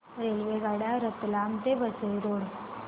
रेल्वेगाड्या रतलाम ते वसई रोड